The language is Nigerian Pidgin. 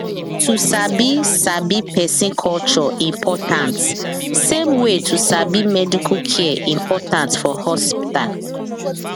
to sabi sabi person culture important same way to sabi medical care important for hospital